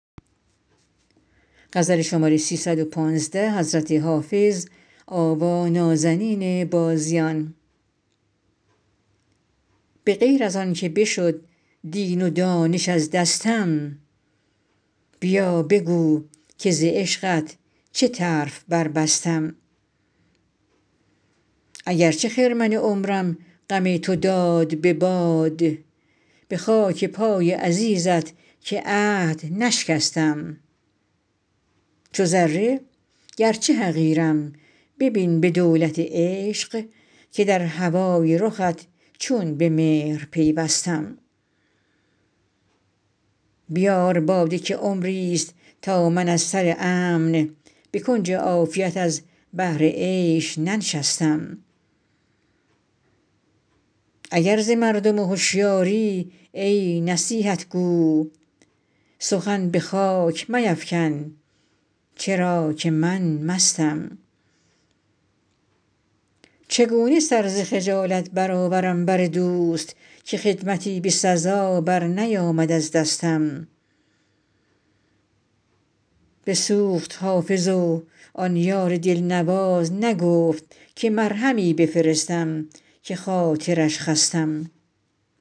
به غیر از آن که بشد دین و دانش از دستم بیا بگو که ز عشقت چه طرف بربستم اگر چه خرمن عمرم غم تو داد به باد به خاک پای عزیزت که عهد نشکستم چو ذره گرچه حقیرم ببین به دولت عشق که در هوای رخت چون به مهر پیوستم بیار باده که عمریست تا من از سر امن به کنج عافیت از بهر عیش ننشستم اگر ز مردم هشیاری ای نصیحت گو سخن به خاک میفکن چرا که من مستم چگونه سر ز خجالت برآورم بر دوست که خدمتی به سزا برنیامد از دستم بسوخت حافظ و آن یار دلنواز نگفت که مرهمی بفرستم که خاطرش خستم